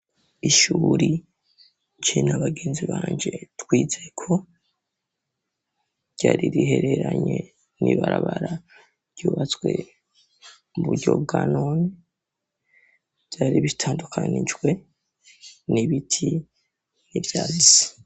Ishuri je na abagenzi banje twizeko ryaririhereranye ni barabara ryubatswe muburyo bwanoni vyari bitandukanijwe n'ibiti n'ivyazi.